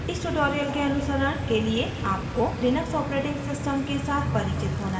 इस tutorial के अनुसरण के लिए आपको लिनक्स operating system के साथ परिचित होना चाहिए